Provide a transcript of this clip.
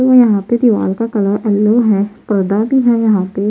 यहां पे दीवार का कलर येलो है पर्दा भी है यहां पे.